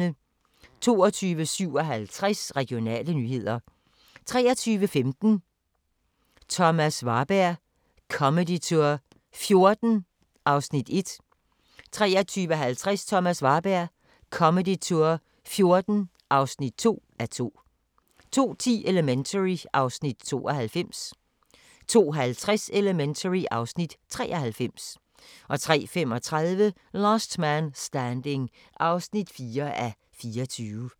22:57: Regionale nyheder 23:15: Thomas Warberg Comedy Tour '14 (1:2) 23:50: Thomas Warberg Comedy Tour '14 (2:2) 02:10: Elementary (Afs. 92) 02:50: Elementary (Afs. 93) 03:35: Last Man Standing (4:24)